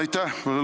Aitäh!